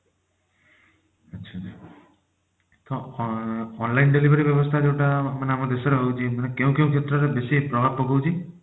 ଆଚ୍ଛା ma'am online delivery ବ୍ୟବସ୍ଥା ଯୋଉଟା ଆମ ଦେଶରେ ରହୁଛି କେଉଁ କେଉଁ କ୍ଷେତ୍ରରେ ବେଶୀ ପ୍ରଭାବ ପକଉଛି